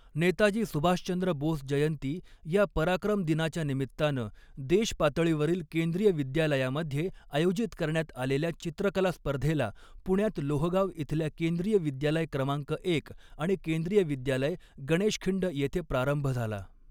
नेताजी सुभाषचंद्र बोस जयंती या पराक्रम दिनाच्या निमित्तानं देशपातळीवरील केंद्रीय विद्यालयामध्ये आयोजित करण्यात आलेल्या चित्रकला स्पर्धेला पुण्यात लोहगाव इथल्या केंद्रीय विद्यालय क्रमांक एक आणि केंद्रीय विद्यालय, गणेशखिंड येथे प्रारंभ झाला.